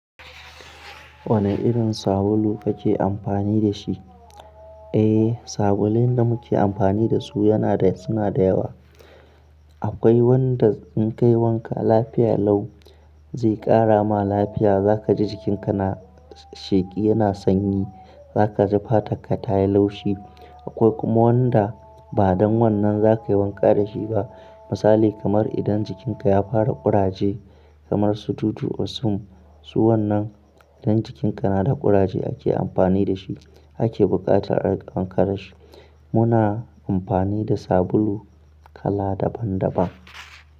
Wane irin sabulu kake amfani da shi? Eh, sabulun da muke amfani da su yana suna da yawa. Akwai wanda in ka yi wanka lafiya lau zai ƙara ma lafiya. Za ka ji jikinka na sheƙi, yana sanyi. Za ka ji fatarka ta yi laushi. Akwai kuma wanda ba don wannan za ka yi wanka da shi ba. Misali kamar idan jikinka ya fara ƙuraje kamar su Dudu-osun. Su wannan idan jikinka na da ƙuraje ake amfani da shi, ake buƙatar ƙara shi. Muna amfani da sabulu kala daban daban.